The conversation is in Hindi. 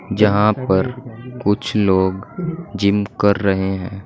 जहां पर कुछ लोग जिम कर रहे है।